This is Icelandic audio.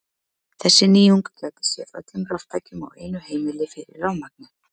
Þessi nýjung gæti séð öllum raftækjum á einu heimili fyrir rafmagni.